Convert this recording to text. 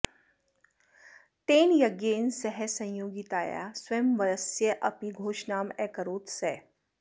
तेन यज्ञेन सह संयोगितायाः स्वयंवरस्यापि घोषणाम् अकरोत् सः